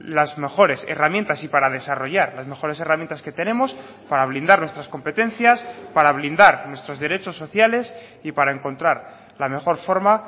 las mejores herramientas y para desarrollar las mejores herramientas que tenemos para blindar nuestras competencias para blindar nuestros derechos sociales y para encontrar la mejor forma